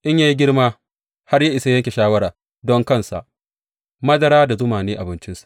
In ya yi girma har ya isa yanke shawara don kansa, madara da zuma ne abincinsa.